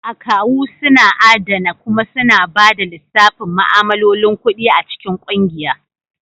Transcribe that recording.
Akawu suna adana kuma suna ba da lissafin ma'amalolin kuɗi a cikin kungiya.